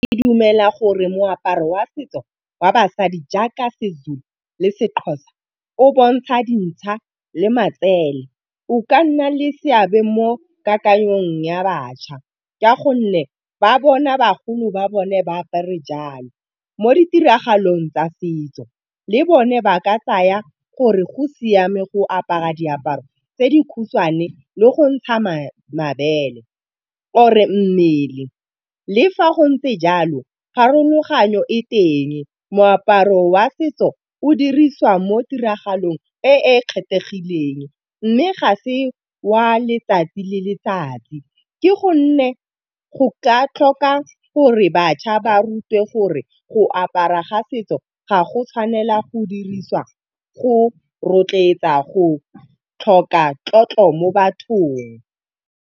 Ke dumela gore moaparo wa setso wa basadi jaaka seZulu le seXhosa o bontsha dinšha le matsele. O ka nna le seabe mo kakanyong ya bašwa ka gonne ba bona bagolo ba bone ba apare jalo, mo ditiragalong tsa setso. Le bone ba ka tsaya gore go siame go apara diaparo tse di khutshwane le go ntsha mabele, ore mmele. Le fa go ntse jalo, pharologanyo e teng. Moaparo wa setso o dirisiwa mo ditiragalong e e kgethegileng, mme ga se wa letsatsi le letsatsi, ke gonne go ka tlhoka gore bašwa ba rutiwe gore go apara ga setso ga go tshwanela go dirisiwa go rotloetsa, go tlhoka tlotlo mo bathong.